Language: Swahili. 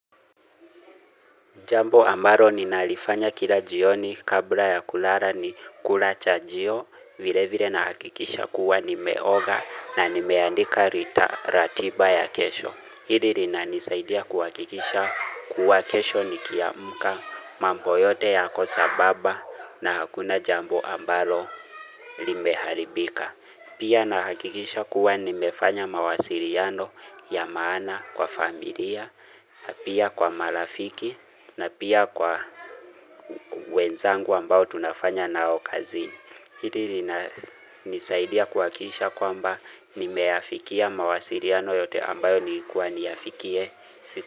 Jambo ambalo ninalifanya kila jioni kabla ya kulala ni kulacha jio vile vile na hakikisha kuwa nimeoga na nimeandika rita ratiba ya kesho. Hili linanisaidia kuwa hakikisha kuwa kesho nikiamuka mambo yote yako sababa na hakuna jambo amalo limeharibika. Pia na hakikisha kuwa nimefanya mawasiriano ya maana kwa familia, na pia kwa marafiki, na pia kwa wenzangu ambao tunafanya nao kazini. Hili lina nisaidia kuwakisha kwamba nimeyafikia mawasiriano yote ambayo nilikuwa niyafikie siku.